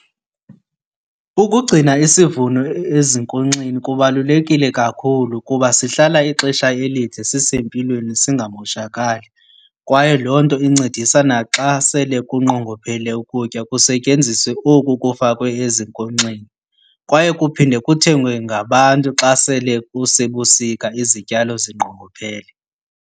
Ukugcina isivuno ezinkonkxeni kubalulekile kakhulu kuba sihlala ixesha elide sisempilweni singamoshakali. Kwaye loo nto incedisa naxa sele kunqongophele ukutya kusetyenziswe oku kufakwe ezinkonkxeni. Kwaye kuphinde kuthengwe ngabantu xa sele kusebusika izityalo zinqongophele.